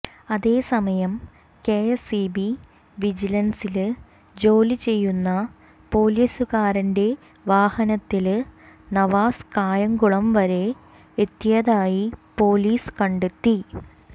അതേസമയം കെഎസ്ഇബി വിജിലന്സില് ജോലിചെയ്യുന്ന പോലീസുകാരന്റെ വാഹനത്തില് നവാസ് കായംകുളം വരെ എത്തിയതായി പോലീസ് കണ്ടെത്തി